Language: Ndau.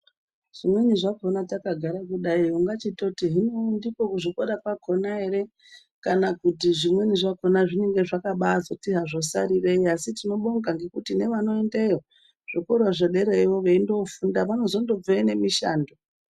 Zvimweni zvakona takagara kudai ungachitoti hino ndiko kuzvikora kwakona ere kana kuti zvimweni zvakona zvinonga zvakabazoti hazvo sarirei asi tinobonga ngekuti nevanoendeyo zvikora zvedereyo vanondozobveyo nemishando.